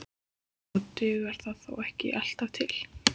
Og dugar það þó ekki alltaf til.